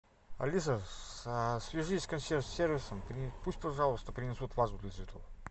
алиса свяжись с консьерж сервисом пусть пожалуйста принесут вазу для цветов